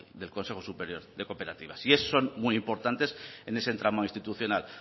del consejo superior de cooperativas y son muy importantes en ese entramado institucional